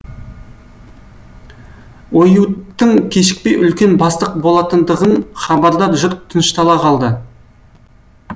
оюуттың кешікпей үлкен бастық болатындығынан хабардар жұрт тыныштала қалды